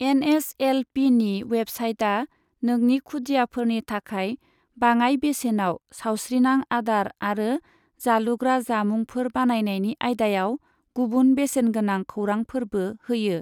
N S L पीनि वेबसाइटा नोंनि खुदियाफोरनि थाखाय बाङाय बेसेनाव सावस्रिनां आदार आरो जालुग्रा जामुंफोर बानायनायनि आयदायाव गुबुन बेसेन गोनां खौरांफोरबो होयो।